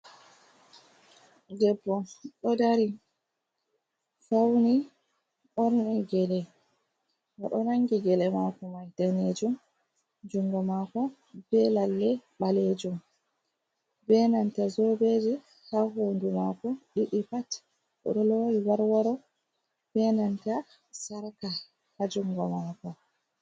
Debbo ɗo dari fauni ɓorni gele, oɗo nangi gele mako mai danejum jungo mako be lalle ɓalejum. Be nanta jobeji ha hondu mako ɗiɗi pat, oɗo lowi wor woro be nanta Sarka ha jungo mako.